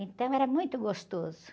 Então era muito gostoso.